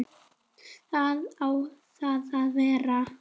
Hvar á það að vera?